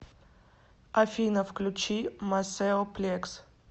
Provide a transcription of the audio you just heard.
афина включи масэо плекс